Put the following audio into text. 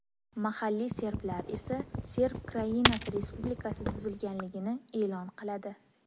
Mahalliy serblar esa Serb Krainasi respublikasi tuzilganligini e’lon qiladi.